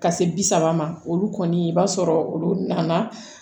Ka se bi saba ma olu kɔni i b'a sɔrɔ olu nana